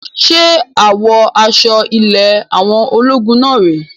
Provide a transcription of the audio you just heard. Ṣe àwọ aṣọ ilé àwọn ológun náà rè é?